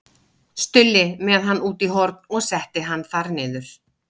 Stulli með hann út í horn og setti hann þar niður.